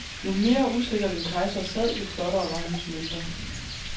Jo mere usikkert en kejser sad, jo flottere var hans mønter.